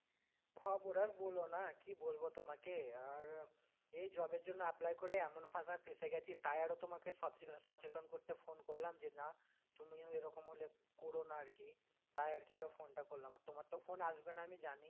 খবর আর বোলো না, কি বলবো তোমাকে আর, এই job এর জন্য apply করে এমন ফাঁসা ফেঁসে গেছি তাই আরো তোমাকে সচে~ সচেতন করতে phone করলাম যে না তুমিও এরকম হলে করো না আর কি তাই আর কি আরো phone টা করলাম, আর তোমার তো phone আসবে না আমি জানি।